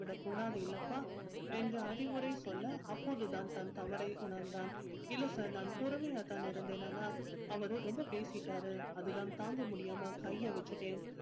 இல்லப்பா என்று அறிவுரை சொல்ல அப்போதுதான் தன் தவறை உணர்ந்தான் இல்ல sir நான் பொறுமையாதான் இருந்தேனா அவரு ரொம்ப பேசிட்டாரு அதுதான் தாங்க முடியாம கைய வச்சுட்டேன்